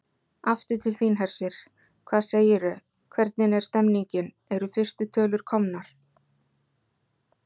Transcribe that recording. Aftur til þín, Hersir, hvað segirðu, hvernig er stemningin, eru fyrstu tölur komnar?